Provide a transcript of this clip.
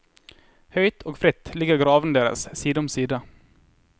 Høyt og fritt ligger gravene deres side om side.